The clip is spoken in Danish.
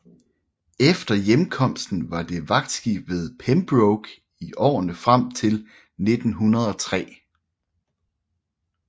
Efter hjemkomsten var det vagtskib ved Pembroke i årene frem til 1903